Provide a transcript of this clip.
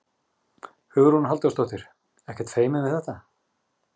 Hugrún Halldórsdóttir: Ekkert feiminn við þetta?